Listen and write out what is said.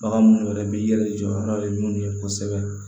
Bagan munnu yɛrɛ bɛ yɛlɛ jɔ n'o ye minnu ye kosɛbɛ